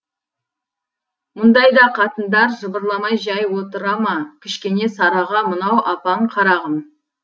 мұндайда қатындар жыбырламай жай отыра ма кішкене сараға мынау апаң қарағым